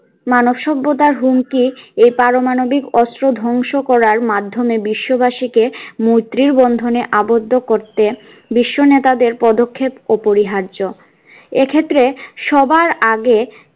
মানবসভ্যতার হুমকি এ পারমাণবিক অস্ত্র ধ্বংস করার মাধ্যমে বিশ্ব বাসী কে মৈত্রীর বন্ধনে আবদ্ধ করতে বিশ্ব নেতাদের পদক্ষেপ অপরিহার্য এক্ষেত্রে সবার আগে